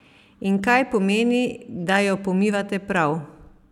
In kaj pomeni, da jo pomivate prav?